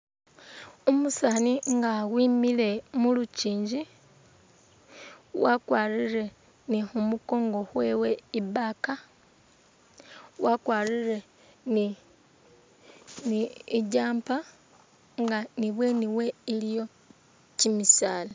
Umusaani nga wimile mu lukiingi wakwarire ni khumukongo khwewe i'bag wakwarire ni ni i'jumper nga ni ibweeni we iliwo kimisaala.